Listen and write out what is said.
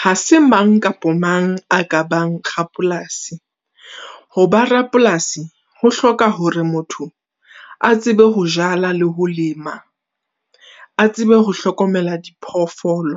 Ha se mang kapa mang a ka bang rapolasi. Hoba Rapolasi ho hloka hore motho a tsebe ho jala le ho lema, a tsebe ho hlokomela diphoofolo.